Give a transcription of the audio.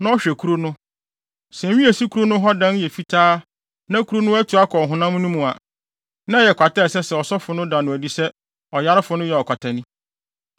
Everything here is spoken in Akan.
na ɔhwɛ kuru no. Sɛ nwi a esi kuru no hɔ dan yɛ fitaa na kuru no atu atɔ ɔhonam no mu a, na ɛyɛ kwata a ɛsɛ sɛ ɔsɔfo no da no adi sɛ ɔyarefo no yɛ ɔkwatani.